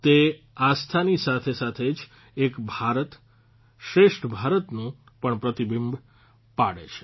તે આસ્થાની સાથે સાથે જ એક ભારત શ્રેષ્ઠ ભારતનું પણ પ્રતિબિંબ પાડે છે